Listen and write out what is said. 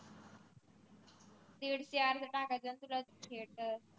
तीन चार त टाकाचे असतीलच theater